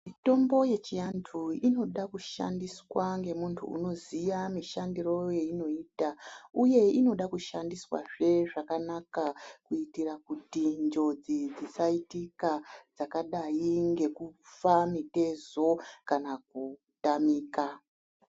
Mitombo yechiantu inoda kushandiswa ngemuntu unoziya mishandiro weinoita uye inoda kushandiswazve zvakanaka kuitira kuti njodzi dzisaitika dzakadai ngekufa mitezo kana kutamika.